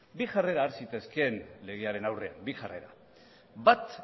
bi jarrera har zitezkeen legearen aurrean bi jarrera bat